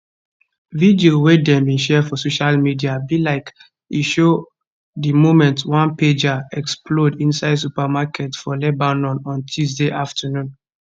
video wey dem share for social media be like e show di moment one pager explode inside supermarket for lebanon on tuesday afternoon